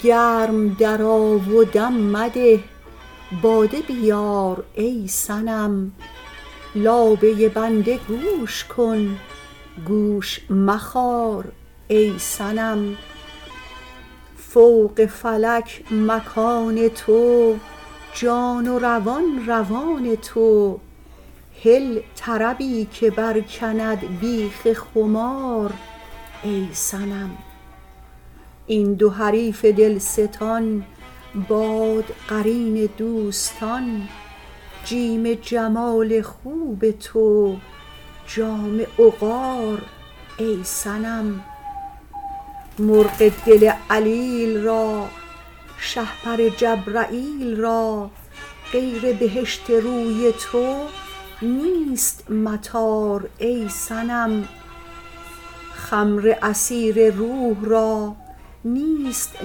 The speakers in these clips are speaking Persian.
گرم درآ و دم مده باده بیار ای صنم لابه بنده گوش کن گوش مخار ای صنم فوق فلک مکان تو جان و روان روان تو هل طربی که برکند بیخ خمار ای صنم این دو حریف دلستان باد قرین دوستان جیم جمال خوب تو جام عقار ای صنم مرغ دل علیل را شهپر جبرییل را غیر بهشت روی تو نیست مطار ای صنم خمر عصیر روح را نیست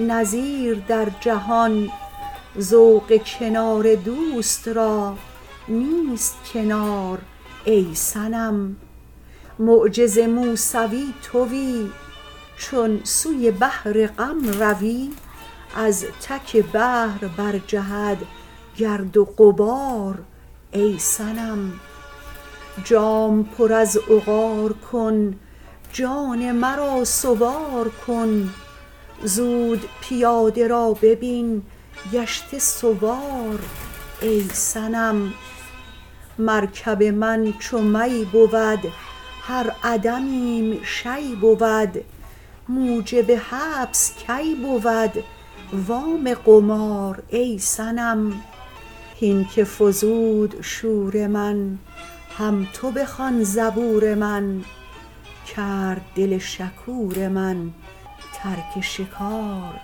نظیر در جهان ذوق کنار دوست را نیست کنار ای صنم معجز موسوی توی چون سوی بحر غم روی از تک بحر برجهد گرد و غبار ای صنم جام پر از عقار کن جان مرا سوار کن زود پیاده را ببین گشته سوار ای صنم مرکب من چو می بود هر عدمیم شیء بود موجب حبس کی بود وام قمار ای صنم هین که فزود شور من هم تو بخوان زبور من کرد دل شکور من ترک شکار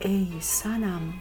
ای صنم